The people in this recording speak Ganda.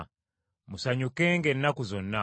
Musanyukenga ennaku zonna.